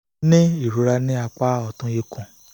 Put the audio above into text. ní ìrora ní apá ọ̀tún ikùn